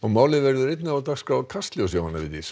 málið verður einnig á dagskrá Kastljóss Jóhanna Vigdís